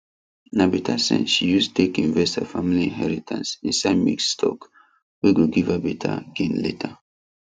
na better sense she use take invest her family inheritance inside mixed stock wey go give her better gain later